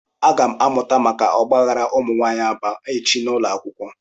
Agam amuta maka ogbaghara umunwaanyi Aba echi n'ulo akwukwo.